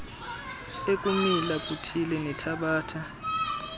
ekumila kuthile nethabatha